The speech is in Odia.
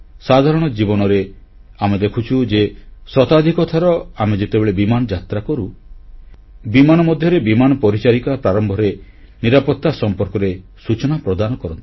ସାଧାରଣ ଜୀବନରେ ଆମେ ଦେଖୁଛୁ ଯେ ଶତାଧିକ ଥର ଆମେ ଯେତେବେଳେ ବିମାନଯାତ୍ରା କରୁ ବିମାନ ମଧ୍ୟରେ ବିମାନ ପରିଚାରିକା ପ୍ରାରମ୍ଭରେ ନିରାପତ୍ତା ସମ୍ପର୍କରେ ସୂଚନା ପ୍ରଦାନ କରନ୍ତି